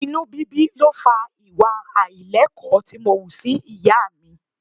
Inú bíbí ló fa ìwà àìlẹ́kọ̀ọ́ tí mo wù sí ìyá mi.